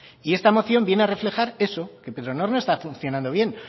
y esta moción viene a reflejar eso que petronor no está funcionando bien